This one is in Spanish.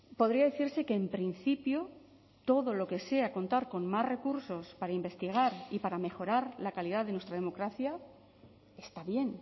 podría decirse que en principio todo lo que sea contar con más recursos para investigar y para mejorar la calidad de nuestra democracia está bien